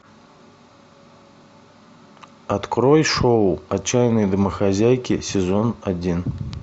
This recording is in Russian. открой шоу отчаянные домохозяйки сезон один